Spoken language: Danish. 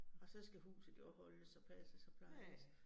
Og så skal huset jo også holdes og passes og plejes